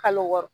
Kalo wɔɔrɔ